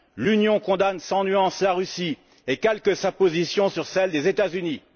L'Union condamne sans nuance la Russie et calque sa position sur celle des États Unis.